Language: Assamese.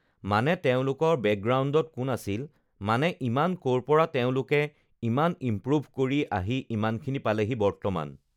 মানে তেওঁলোকৰ বেকগ্ৰাউণ্ডত কোন আছিল মানে ইমান ক'ৰ পৰা তেওঁলোকে ইমান ইমপ্ৰোভ কৰি আহি ইমানখিনি পালেহি বৰ্তমান